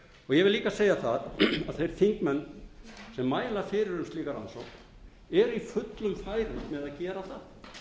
vil líka segja það að þeir þingmenn sem mæla fyrir um slíka rannsókn eru í fullum færum með að gera